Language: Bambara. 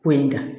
Ko in da